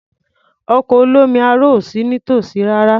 Ọkọ̀ olómi aro ò sí nítòsí rárá.